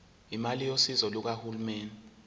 imali yosizo lukahulumeni